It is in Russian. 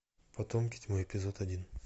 потомки тьмы эпизод один